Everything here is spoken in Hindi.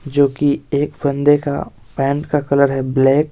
जोकि एक बंदे का पैंट का कलर है ब्लैक --